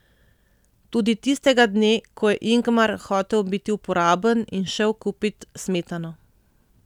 Tudi tistega dne, ko je Ingmar hotel biti uporaben in šel kupit smetano.